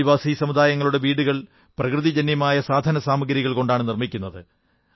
ആദിവാസി സമൂഹം തങ്ങളുടെ വീടുകൾ പ്രകൃതിജന്യമായ സാധനസാഗ്രികൾ കൊണ്ടാണ് നിർമ്മിക്കുന്നത്